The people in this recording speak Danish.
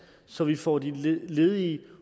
så vi får de ledige